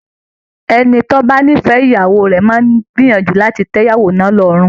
Ẹni tó bá nífẹ̀ẹ́ ìyàwó rẹ̀ máa ń gbìyànjú láti tẹ ìyàwó náà lọ́rùn